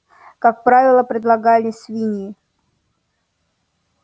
как правило предлагали свиньи